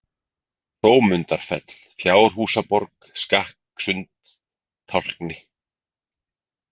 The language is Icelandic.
Hrómundarfell, Fjárhúsaborg, Skakkasund, Tálkni